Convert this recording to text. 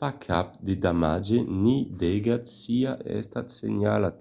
pas cap de damatge ni d'aigat siá estat senhalat